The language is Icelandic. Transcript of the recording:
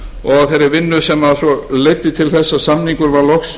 og þeirri vinnu sem leiddi til þess að samningur var loks